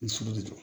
I sujɔ